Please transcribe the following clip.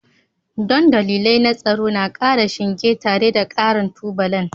Don dalilai na tsaro na ƙara shinge tare da ƙarin tubalan